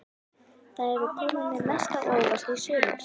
Hvað hefur komið þér mest á óvart í sumar?